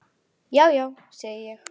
Já, já, segi ég.